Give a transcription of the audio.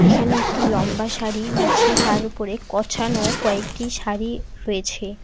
এখানে একটি লম্বা শাড়ি বিছিয়ে তার ওপরে কছানো কয়েকটি শাড়ি রয়েছে।